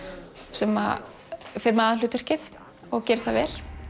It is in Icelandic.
sem fer með aðalhlutverkið og gerir það vel